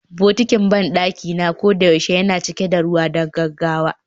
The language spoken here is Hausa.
Bokitin banɗaki na koyaushe yana cika da ruwa don gaggawa